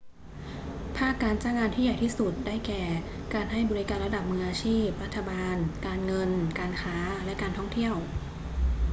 ภาคการจ้างงานที่ใหญ่ที่สุด ได้แก่ การให้บริการระดับมืออาชีพ รัฐบาล การเงิน การค้า และการท่องเที่ยว